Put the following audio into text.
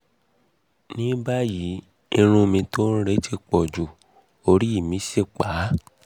ní báyìí irun mi tó ń re ti pọ̀jù orí mì sì pá mì sì pá